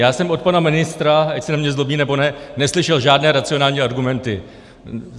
Já jsem od pana ministra, ať se na mě zlobí, nebo ne, neslyšel žádné racionální argumenty.